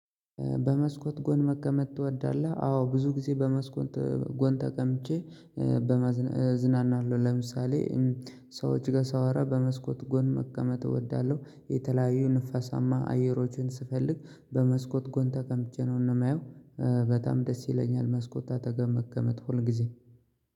በመስኮት ጎን መቀመጥ ትወዳለህ አዎ ብዙ ጊዜ በመስኮት ጎን ተቀምጬ በመዝናና እዝናናለሁ። ለምሳሌ ሰዎች ጋር ሳወራ በመስኮት ጎን መቀመጥ እወዳለሁ። የተለያዩ ንፋሳማ አየሮቹን ስፈልግ በመስኮት ጎን ተቀምጬ ነው የማየው። በጣም ደስ ይለኛል መስኮት አጠገብ መቀመጥ ሁል ጊዜ